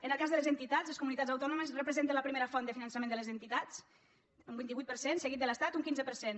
en el cas de les entitats les comunitats autònomes representen la primera font de finançament de les entitats un vint vuit per cent seguit de l’estat un quinze per cent